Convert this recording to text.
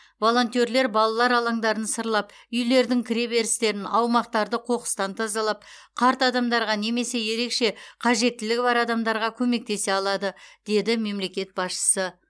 волонтерлер балалар алаңдарын сырлап үйлердің кіре берістерін аумақтарды қоқыстан тазалап қарт адамдарға немесе ерекше қажеттілігі бар адамдарға көмектесе алады деді мемлекет басшысы